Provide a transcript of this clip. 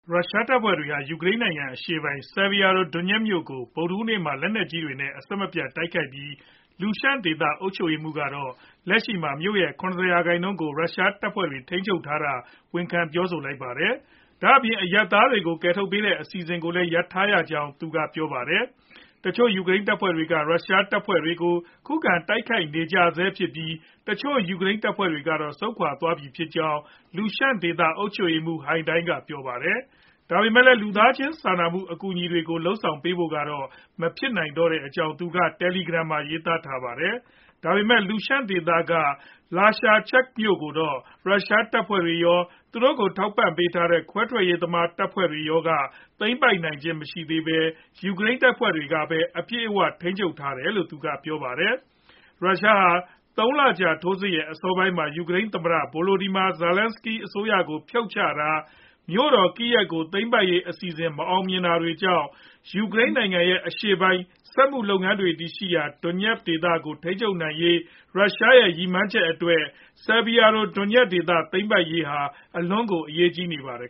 ရုရှားတပ်ဖွဲ့တွေဟာ ယူကရိန်းနိုင်ငံ အရှေ့ပိုင်း Sievierodonetsk မြို့ကို ဗုဒ္ဓဟူးနေ့မှာ လက်နက်ကြီးတွေ နဲ့ အဆက်မပြတ် တိုက်ခိုက်နေပြီး Luhansk ဒေသ အုပ်ချုပ်ရေးမှူးကတော့ လက်ရှိမှာ မြို့ရဲ့ ၇ဝ ရာခိုင်နှုန်းကို ရုရှားတပ်ဖွဲ့တွေ ထိန်းချုပ်ထားတာ ဝန်ခံပြောဆိုလိုက်ပါတယ်။ ဒါ့အပြင် အရပ်သားတွေကို ကယ်ထုတ်ပေးတဲ့ အစီအစဉ်ကိုလည်း ရပ်ဆိုင်းထားရကြောင်း သူကပြောပါတယ်။ တချို့ ယူကရိန်းတပ်ဖွဲ့တွေဟာ ရုရှားတပ်ဖွဲ့တွေကို ခုခံတိုက်ခိုက်နေကြဆဲဖြစ်ပြီး တချို့ ယူကရိန်းတပ်ဖွဲ့တွေကတော့ ဆုတ်ခွာသွားပြီဖြစ်ကြောင်း Luhansk ဒေသ အုပ်ချုပ်ရေးမှူး Haidai က ပြောပါတယ်။ ဒါပေမယ့်လည်း လူသားချင်း စာနာမှုဆိုင်ရာ အကူအညီတွေကို လုပ်ဆောင်ပေးဖို့ကတော့ မဖြစ်နိုင်တော့ကြောင်း သူက Telegram မှာ ရေးသားထားပါတယ်။ ဒါပေမယ့် Lushansk ဒေသက Lysychansk မြို့ကိုတော့ ရုရှားတပ်ဖွဲ့တွေရော ၊ သူတို့ထောက်ပံ့ ပေးထားတဲ့ ခွဲထွက်ရေးသမားတပ်ဖွဲ့တွေရော က သိမ်းပိုက်နိုင်ခြင်းမရှိသေးပဲ ယူကရိန်းတပ်ဖွဲ့တွေက အပြည့်အဝ ထိန်းချုပ်ထားတယ်လို့လည်း သူကပြောပါတယ်။ ရုရှားဟာ သုံးလကြာ ထိုးစစ်ရဲ့ အစောပိုင်းမှာ ယူကရိန်း သမ္မတVolodymyr Zelenskyy အစိုးရကို ဖြုတ်ချတာ ၊ မြို့တော် Kyiv ကို သိမ်းပိုက်ရေး အစီအစဉ် မအောင်မမြင်ဖြစ်ခဲ့ပြီးနောက် ယူကရိန်းနိုင်ငံရဲ့ အရှေ့ပိုင်း စက်မှုလုပ်ငန်းတွေရှိရာ Donbas ဒေသကို ထိန်းချုပ်ရေး ရုရှားရဲ့ ရည်မှန်းချက် အတွက် Sievierodonetsk ဒေသ သိမ်းပိုက်နိုင်ရေးဟာ အလွန်ကို အရေးကြီးနေပါတယ်